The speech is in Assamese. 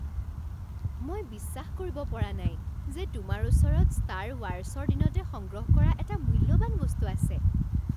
মই বিশ্বাস কৰিব পৰা নাই যে তোমাৰ ওচৰত ষ্টাৰ ৱাৰছৰ দিনতে সংগ্ৰহ কৰা এটা মূল্যৱান বস্তু আছে।